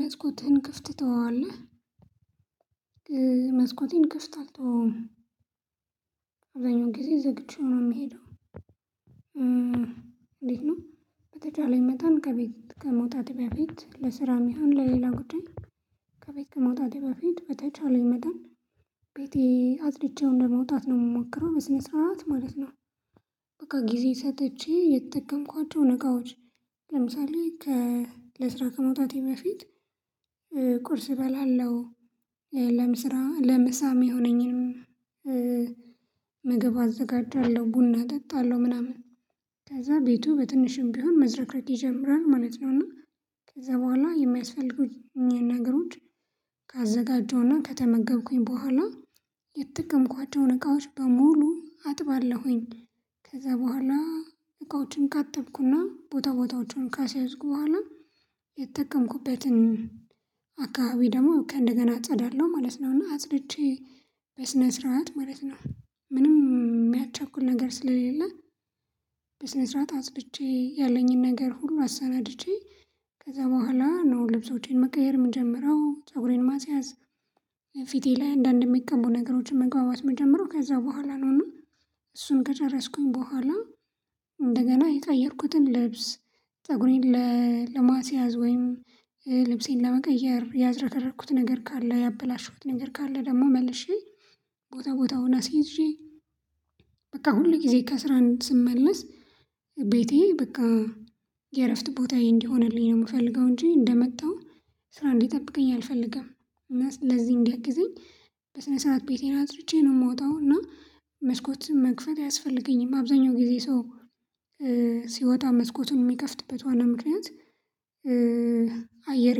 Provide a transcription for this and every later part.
"መስኮትህን ክፍት ትተዋለህ?" መስኮቴን ክፍት አለተወውም። አብዛኛው ጊዜ ዘግቼው ነው የምሄደው። እንዴት ነው በተቻለኝ መታን ከቤት ከመውጣቴ በፊት ለስራም ይሁን ለሌላ ጉዳይ ከቤት ከመውጣቴ በፊት በተቻለኝ መጠን ቤቴ አጽድቼው እንደመውጣት ነው የምሞክረው በስነ ስርዓት ማለት ነው። በቃ ጊዜ ሰጥቼ የተጠቀምኳቸውን እቃዎች ለምሳሌ ከ ለስራ ከመውጣቴ በፊት ቁርስ እበላለሁ፣ ለምስራ ለምሳ የሚሆነኝንም ምግብ አዘጋጃለሁ፣ ቡና እጠጣለሁ፣ ምናምን ከዛ ቤቱ በትንሹም ቢሆን መዝረክረክ ይጀምራል ማለት ነው፤ እና ከዛ በኋላ የሚያስፈልጉኝን ነገሮች ካዘጋጀሁ ከተመገብኩኝ በኋላ የተጠቀምኳቸውን እቃዎች በሙሉ አጥባለሁኝ። ከዛ በኋላ እቃዎችን ካጠብኩና ቦታ ቦታዎችን ካስያዝኩ በኋላ የተጠቀምኩበትን አካባቢ ደግሞ ከንደገና አጸዳለሁ ማለት ነው፤ እና አጽድቼ በስነ ስርዓት ማለት ነው ምንም የሚያቻኩል ነገር ስለሌለ በስነ ስርዓት አጽድቼ ያለኝን ነገር ሁሉ አሰናድቼ ከዛ በኋላ ነው ልብሶቼን መቀየር የምንጀምረው፣ ፀጉሬን ማስያዝ፣ ፊቴ ላይ አንዳንድ የሚቀቡ ነገሮችን መቀባባት ምጀምረው ከዛ በኋላ ነው እና እሱን ከጨረስኩኝ በኋላ እንደገና የቀየርኩትን ልብስ፣ ፀጉሬን ለማስያዝ ወይም ልብሴን ለመቀየር ያዝረከረኩት ነገር ካለ ያበላሸሁት ነገር ካለ ደግሞ መልሼ ቦታ ቦታውን አስይዤ በቃ ሁል ጊዜ ከስራን ስመለስ ቤቴ በቃ የእረፍት ቦታዬ እንዲሆንልኝ ነው የምፈልገው እንጂ እንደመጣሁ ስራ እንዲጠብቀኝ አልፈልግም፤ እና ለዚህ እንዲያግዘኝ ጊዜ በስነ ስርዓት ቤቴን አጽድቼ ነው የምወጣው፤ እና መስኮትን መክፈት አያስፈልገኝም አብዛኛው ጊዜ ሰው ሲወጣ መስኮቱን የሚከፍትበት ዋና ምክንያት አየር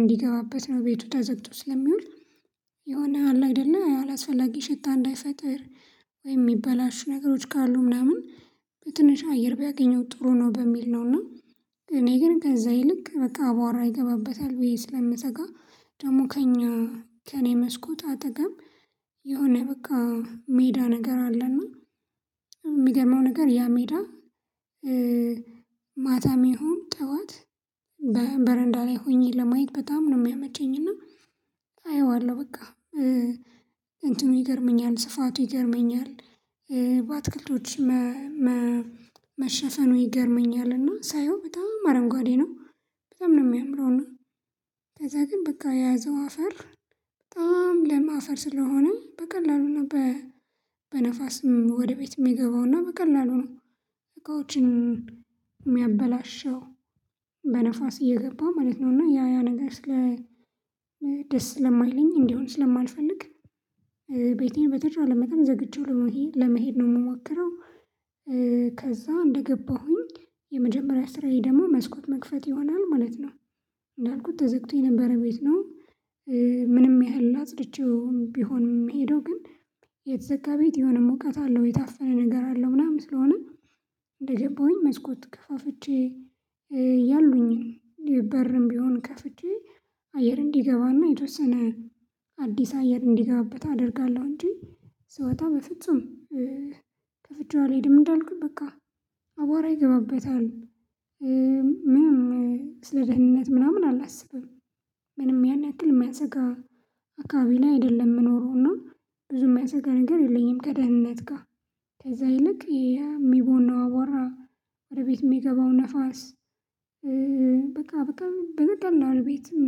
እንዲገባበት ነው ቤቱ ተዘግቶ ስለሚውል የሆነ አላ አደለ አላስፈላጊ ሽታ እንዳይፈጥር ወይ የሚበላሹ ነገሮች ካሉ ምናምን በትንሽ አየር ቢያገኙ ጥሩ ነው በሚል ነው እና እኔ ግን ከዛ ይልቅ በቃ አቧራ ይገባበታል ብዬ ስለምሰጋ ደግሞ ከእኛ ከእኔ መስኮት አጠገብ የሆነ በቃ ሜዳ ነገር አለና የሚገርመው ነገር ያ ሜዳ ማታም ይሁን ጠዋት በረንዳ ላይ ሆኜ ለማየት በጣም ነው የሚያመቸኝ እና አየዋለሁ በቃ እንትኑ ይገርመኛል ስፋቱ ይገርመኛል። በአትክልቶች መሸፈኑ ይገርመኛል፤ እና ሳየው በጣም አረንጓዴ ነው። በጣም ነው የሚያምረው እና ከዛ ግን በቃ የያዘው አፈር በጣም ለምአፈር ስለሆነ በቀላሉና በነፋስም ወደ ቤትም የሚገባውና በቀላሉ ነው እቃዎችን የሚያበላሸው። በነፋስ እየገባ ማለት ነው እና ያ ያ ነገር ስለ ደስ ስለማይለኝ እንዲሆን ስለማልፈልግ ቤቴን በተቻለ መጠን ዘግቼው ለመሄድ ነው የምሞክረው። ከዛ እንደገባሁኝ የመጀመሪያ ስራዬ ደግሞ መስኮት መክፈት ይሆናል ማለት ነው። እንዳልኩት ተዘግቶኝ የነበር ቤት ነው ምንም ያህል አጽድቼውም ቢሆን ምሄደው ግን የተዘጋ ቤት የሆነ ሙቀት አለው የታፈነ ነገር አለው ምናምን ስለሆነ እንደገባሁኝ መስኮት ከፋፍቼ ያሉኝን በርም ቢሆን ከፍቼ አየር እንዲገባና የተወሰነ አዲስ አየር እንዲገባበት አደርጋለሁ እንጂ ስወጣ በፍጹም ከፍቼው አልሄድም እንዳልኩት በቃ አቧራ ይገባበታል። ምንም ስለ ደህንነት ምናምን አላስብም። ምንም ያን ያክል የሚያስጋ አካባቢ ላይ አይደለም ምኖነረው እና ብዙ የሚያሰጋ ነገር የለኝም ከደህንነት ጋር ከዛ ይልቅ ይሄ የሚቦነው አዋራ፣ ወደ ቤት የሚገባው ንፋስ፣ በቃ በቃ በቀላል ቤትም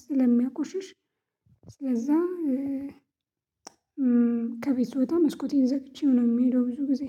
ስለሚያቆሽሽ ስለዛ ከቤት ስወጣ መስኮቴን ዘግቼ ነው የምሄደው ብዙ ጊዜ